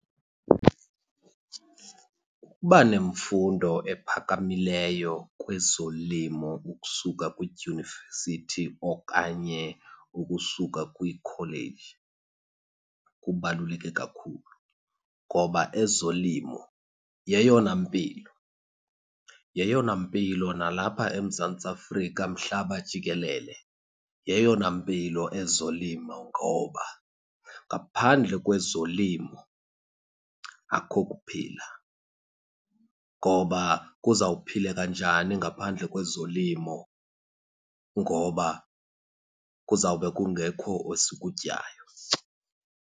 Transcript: Ukuba nemfundo ephakamileyo kwezolimo ukusuka kwidyunivesithi okanye ukusuka kwikholeji kubaluleke kakhulu ngoba ezolimo yeyona mpilo, yeyona mpilo nalapha eMzantsi Afrika, mhlaba jikelele. Yeyona mpilo ezolimo, ngoba ngaphandle kwezolimo akukho kuphila. Ngoba kuzawuphileka njani ngaphandle kwezolimo? Ngoba kuzawube kungekho esikutyayo.